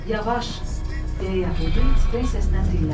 Yavaş, deyə yəhudi titrək səslə dilləndi.